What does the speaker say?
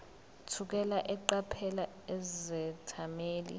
thukela eqaphela izethameli